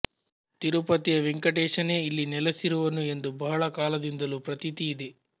ತಿರುಪತಿಯ ವೆಂಕಟೇಶನೇ ಇಲ್ಲಿ ನೆಲೆಸಿರುವನು ಎಂದು ಬಹಳ ಕಾಲದಿಂದಲೂ ಪ್ರತೀತಿ ಇದೆ